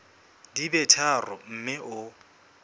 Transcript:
di be tharo mme o